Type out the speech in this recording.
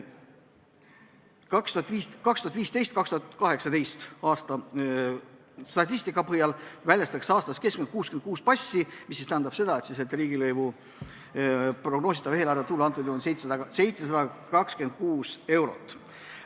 2015.–2018. aasta statistika põhjal väljastatakse aastas keskmiselt 66 passi, mis tähendab, et riigilõivu prognoositav eelarvetulu on antud juhul 726 eurot.